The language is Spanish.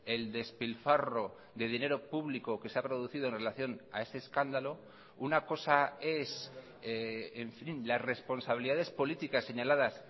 el despilfarro de dinero público que se ha producido en relación a ese escándalo una cosa es en fin las responsabilidades políticas señaladas